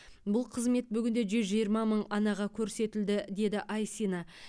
бұл қызмет бүгінде жүз жиырма мың анаға көрсетілді деді айсина